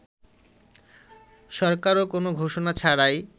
সরকারও কোন ঘোষণা ছাড়াই